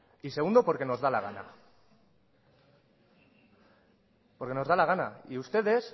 y segundo porque nos da la gana y